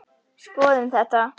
Skoðum þetta.